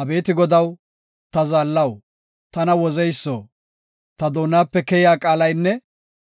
Abeeti Godaw, ta zaallaw, tana wozeyso; ta doonape keyiya qaalaynne